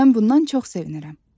Mən bundan çox sevinirəm.